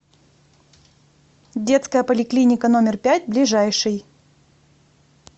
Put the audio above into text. детская поликлиника номер пять ближайший